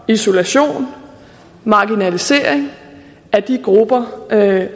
isolation og marginalisering af